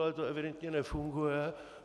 Ale to evidentně nefunguje.